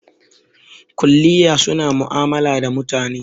Kuliya suna ma'amala da mutane